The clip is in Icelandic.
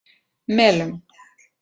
Melum